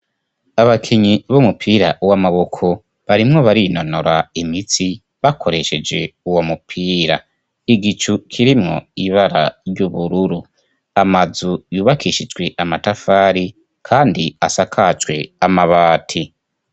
Abakinyi b'umupira w'amaboko barimwo barinonora imitsi bakoresheje uwo mupira. Igicu kirimwo ibara ry'ubururu. Amazu yubakishijwe amatafari kandi asakajwe amabati.